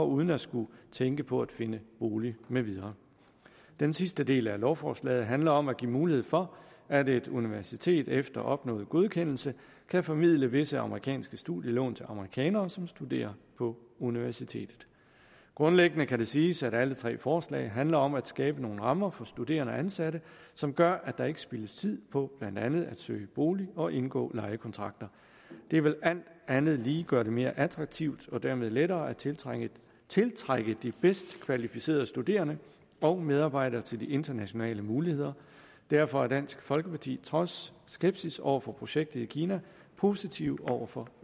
uden at skulle tænke på at finde bolig med videre den sidste del af lovforslaget handler om at give mulighed for at et universitet efter opnået godkendelse kan formidle visse amerikanske studielån til amerikanere som studerer på universitetet grundlæggende kan det siges at alle tre forslag handler om at skabe nogle rammer for studerende og ansatte som gør at der ikke spildes tid på blandt andet at søge bolig og indgå lejekontrakter det vil alt andet lige gøre det mere attraktivt og dermed lettere at tiltrække tiltrække de bedst kvalificerede studerende og medarbejdere til de internationale muligheder derfor er dansk folkeparti trods skepsis over for projektet i kina positive over for